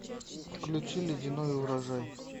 включи ледяной урожай